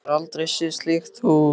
Hún hefur aldrei séð slíkt hús.